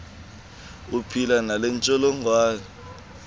uphila nale ntsholongwane